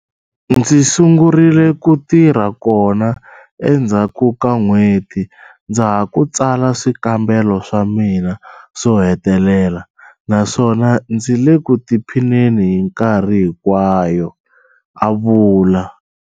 Ndzi sungurile ku tirha kona endzhaku ka n'hweti ndza ha ku tsala swikambelo swa mina swo hetelela naswona ndzi le ku tiphineni hinkarhi hikwayo, a vula.